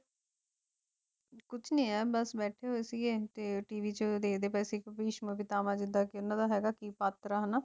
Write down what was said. ਕੁਛ ਨੀ ਯਾਰ ਬਸ ਬੈਠੇ ਹੋਏ ਸੀਗੇ ਤੇ TV ਚ ਦੇਖਦੇ ਪਏ ਸੀ ਭਿਸ਼ਮ ਪਿਤਾਮਾ ਜਿਦਾਂ ਕੇ ਇਹਨਾਂ ਦਾ ਹੈਗਾ ਸੀ ਪਾਤਰ ਹਨਾਂ